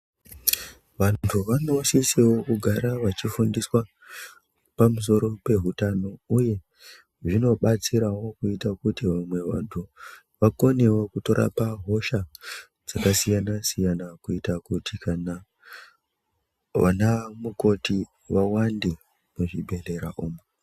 Vanthu vanosisawo kugara vachifundiswa pamusoro pehutano uye zvinobatsirawo kuita kuti vamwe vanthu vakonewo kutorapa hosha dzakasiyana siyana kuita kuti kana vana mukoti vawande muzvibhedhlera umu.